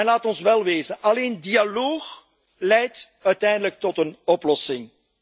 Laat ons wel wezen alleen dialoog leidt uiteindelijk tot een oplossing.